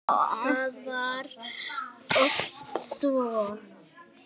Það var oft svo.